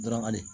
Darabakari